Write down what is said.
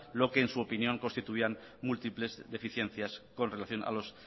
lo que en su opinión constituían múltiples deficiencias con relación a los